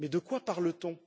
Mais de quoi parle t on?